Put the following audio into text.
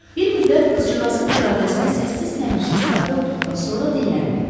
Bir müddət qızcığazın iradəsinə səssiz-səmirsiz tabe olduqdan sonra dilləndi: